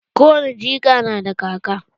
Ko wani jika na da kaka.